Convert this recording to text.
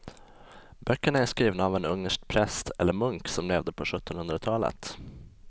Böckerna är skrivna av en ungersk präst eller munk som levde på sjuttonhundratalet.